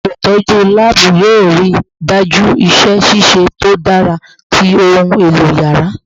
Olutọju laabu yoo rii daju iṣẹ ṣiṣe to dara ti ohun elo yàrá